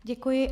Děkuji.